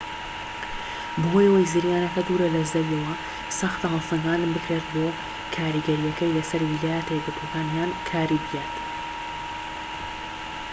بەهۆی ئەوەی زریانەکە دوورە لە زەویەوە سەختە هەڵسەنگاندن بکرێت بۆ کاریگەریەکەی لەسەر ویلایەتە یەکگرتوەکان یان کاریبیان